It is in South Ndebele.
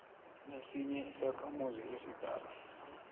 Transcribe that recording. nesinye isakhamuzi esidala